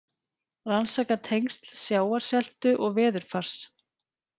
Rannsaka tengsl sjávarseltu og veðurfars